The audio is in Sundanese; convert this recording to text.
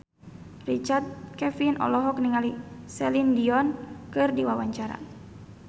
Richard Kevin olohok ningali Celine Dion keur diwawancara